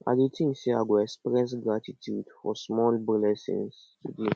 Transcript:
i dey think say i go express gratitude for small blessings today